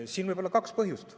Siin võib olla kaks põhjust.